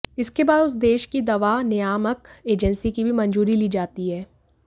इसके बाद उस देश की दवा नियामक एजेंसी की भी मंजूरी ली जाती है